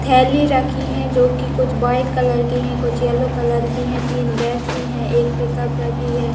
थेली रखी है जोकी कुछ व्हाइट कलर की है कुछ येलो कलर की है। तीन व्यक्ति है एक पिकअप रखी है।